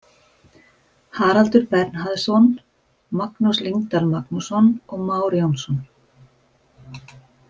Haraldur Bernharðsson, Magnús Lyngdal Magnússon og Már Jónsson.